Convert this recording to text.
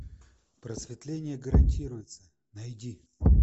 просветление гарантируется найди